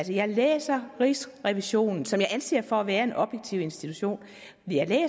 jeg læser rigsrevisionen som jeg anser for at være en objektiv institution